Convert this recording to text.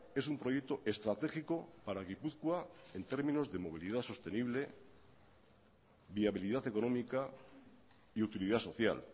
es un proyecto estratégico para gipuzkoa en términos de movilidad sostenible viabilidad económica y utilidad social